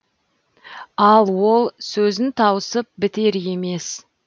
ал ол сөзін тауысып бітер емес